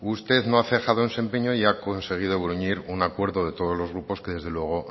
usted no ha cejado en su empeño y ha conseguido gruñir un acuerdo de todos los grupos que desde luego